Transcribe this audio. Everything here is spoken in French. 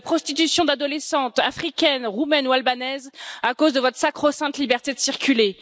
De la prostitution d'adolescentes africaines, roumaines ou albanaises, à cause de votre sacro sainte liberté de circuler?